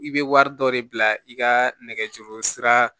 I bɛ wari dɔ de bila i ka nɛgɛjuru sira